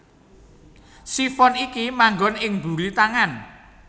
Sifon iki manggon ing mburi tangan